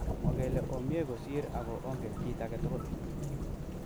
Mogele omie kosir ago ongen kit agetugul.